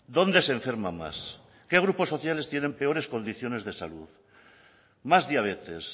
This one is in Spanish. dónde se enferma más qué grupos sociales tienen peores condiciones de salud más diabetes